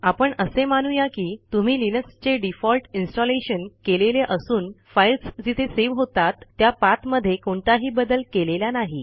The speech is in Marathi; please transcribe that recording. आपण असे मानू या की तुम्ही लिनक्सचे डिफॉल्ट इन्स्टॉलेशन केलेले असून फाईल्स जिथे सेव्ह होतात त्या पाथमध्ये कोणताही बदल केलेला नाही